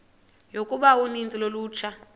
yokuba uninzi lolutsha